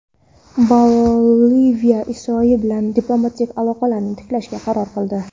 Boliviya Isroil bilan diplomatik aloqalarni tiklashga qaror qildi.